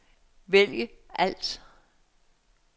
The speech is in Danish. vælg alt